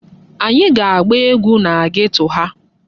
Anyị ga-agba egwu na geto ha.